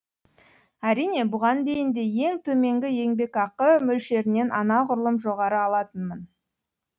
әрине бұған дейін де ең төменгі еңбекақы мөлшерінен анағұрлым жоғары алатынмын